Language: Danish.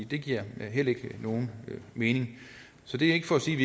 det giver heller ikke nogen mening så det er ikke for at sige at